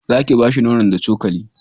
za ki bashi nonon da cokali